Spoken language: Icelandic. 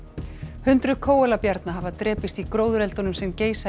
hundruð hafa drepist í gróðureldunum sem geisa í